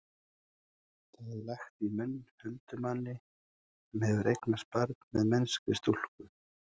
það er lagt í munn huldumanni sem hefur eignast barn með mennskri stúlku